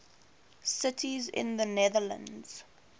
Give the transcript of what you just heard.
cities in the netherlands